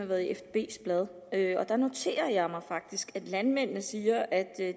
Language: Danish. har været i fdbs blad og jeg noterer mig faktisk at landmændene siger at